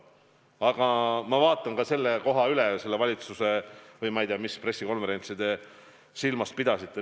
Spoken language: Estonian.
Aga ma vaatan selle koha üle, ma ei tea, millist pressikonverentsi te silmas pidasite.